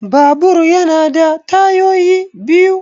Babur ya na da tayoyi biyu